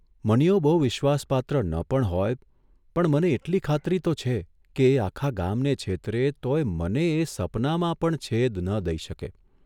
મનીયો બહુ વિશ્વાસપાત્ર ન પણ હોય, પણ મને એટલી ખાતરી તો છે કે એ આખા ગામને છેતરે તોયે મને એ સપનામાં પણ છેદ ન દઇ શકે.